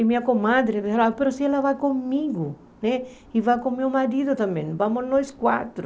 E minha comadre dizia, mas se ela vai comigo, e vai com meu marido também, vamos nós quatro.